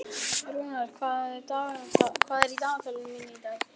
Rúnar, hvað er á dagatalinu mínu í dag?